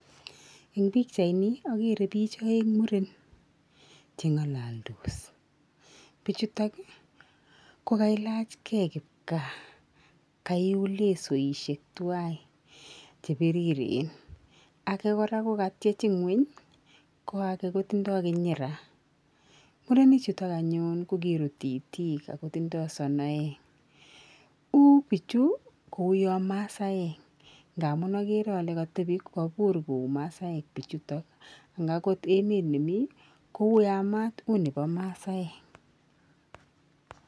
Eng pikchaini akere bich aeng muren cheng'alaldos. Bichutok kokailachkei kipkaa kaiul lesoishek tuwai chepiriren. Ake kora kokatchech ing'uny ko ake kotindoi kinyira. Murenichutok anyun kokirut itik akotindoi sonoek. U pichu kouyo masaek nga amun akere ale katepi kobur kou masaek bichuto ak akot emet nemii koyamat, u nebo masaek.